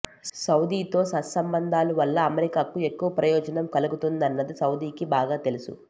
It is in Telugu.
సౌదీతో సత్సంబంధాల వల్ల అమెరికాకు ఎక్కువ ప్రయోజనం కలుగుతుందన్నది సౌదీకి బాగా తెలుసు